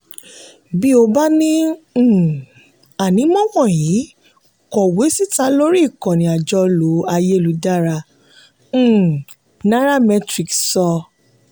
bí o bá ní um ànímọ́ wọ̀nyí kọ̀wé síta lórí ikànnì àjọlò ayélujára um nairametrics sọ.